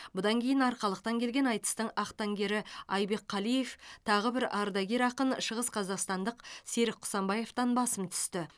бұдан кейін арқалықтан келген айтыстың ақтаңгері айбек қалиев тағы бір ардагер ақын шығысқазақстандық серік құсанбаевтан басым түсті